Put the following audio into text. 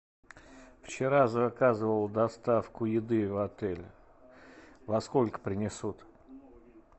вчера заказывал доставку еды в отель во сколько принесут